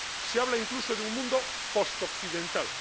Se habla, incluso, de un mundo post occidental.